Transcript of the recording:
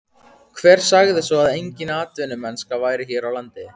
Hver sagði svo að engin atvinnumennska væri hér á landi?